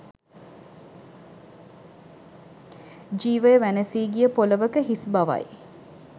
ජීවය වැනසී ගිය පොළවක හිස් බවයි